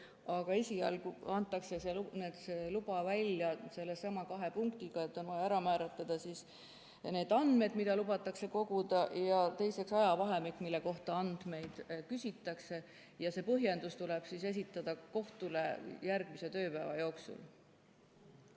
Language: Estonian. Aga esialgu antakse see luba välja sellesama kahe punktiga, et on vaja ära määratleda andmed, mida lubatakse koguda, ja teiseks ajavahemik, mille kohta andmeid küsitakse, ja see põhjendus tuleb esitada kohtule järgmise tööpäeva jooksul.